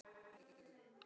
En hún getur dáið